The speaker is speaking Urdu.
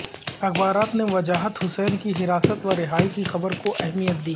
اخبارات نے وجاہت حسین کی حراست و رہائی کی خبر کو اہمیت دی